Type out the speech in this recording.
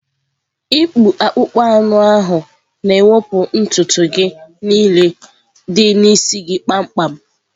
ịkpụ akpụkpọ anụ ahu na-ewepụ ntutu gị niile dị n'isi gị kpamkpam.